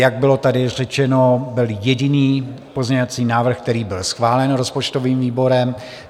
Jak bylo tady řečeno, byl jediný pozměňovací návrh, který bych schválen rozpočtovým výborem.